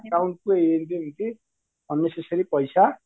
Account ରେ ଏମିତି ଏମିତି unnecessary ପଇସା